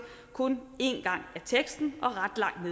kun én gang af teksten og ret langt